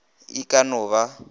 ee go ka no ba